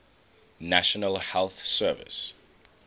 national health service